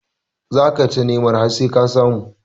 Za ka ta nema har sai ka samu